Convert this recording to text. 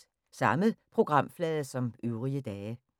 Samme programflade som øvrige dage